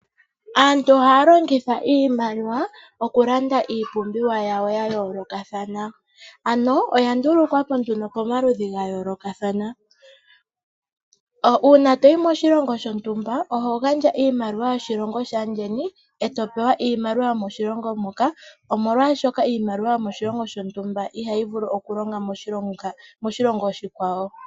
Aantu ohaya longitha iimaliwa okulanda iipumbiwa yawo ya yoolokathana ano oya ndulukwa po nduno pomaludhi ga yoolokathana. Uuna toyi moshilongo shontumba oho gandja iimaliwa yoshilongo shaandjeni eto pewa iimaliwa yomoshilongo moka omolwashoka iimaliwa yomoshilongo shontumba ihayi vulu okulonga moshilongo oshikwawo.